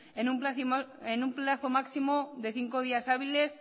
inss en un plazo máximo de cinco días hábiles